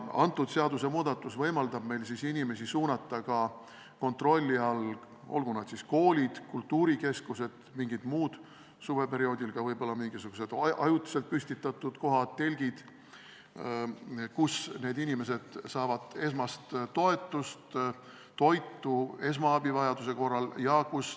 See seadusmuudatus võimaldab meil inimesi suunata kontrolli all ka mujale, olgu need siis koolid, kultuurikeskused või mingid muud hooned, suveperioodil ka võib-olla mingisugused ajutiselt püstitatud kohad, näiteks telgid, kus inimesed saavad esmast toetust, toitu ja vajaduse korral esmaabi.